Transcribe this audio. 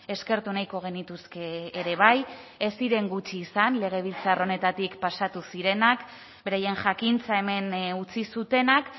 eskertu nahiko genituzke ere bai ez ziren gutxi izan legebiltzar honetatik pasatu zirenak beraien jakintza hemen utzi zutenak